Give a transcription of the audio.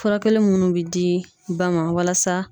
Furakɛli minnu bɛ di ba ma walasa.